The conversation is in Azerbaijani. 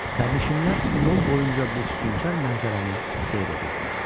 Sərnişinlər yol boyunca bu sübükkar mənzərəni seyr edirdilər.